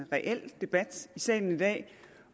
reel debat i salen i dag